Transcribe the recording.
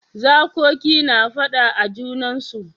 Zakoki na fada a junansu.